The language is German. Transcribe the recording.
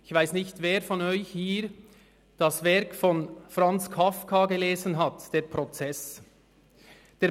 Ich weiss nicht, wer von Ihnen das Werk von Franz Kafka, «Der Prozess», gelesen hat.